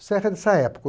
O serra é dessa época?